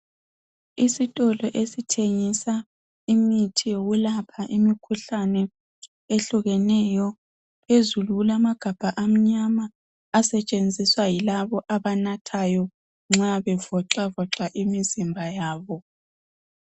Isitolo esithengisa imithi yokulapha imikhuhlane ehlukeneyo. Phezulu kulamagabha amnyama asetshenziswa yilabo abanathayo nxa bevoxavoxa imizimba yabo.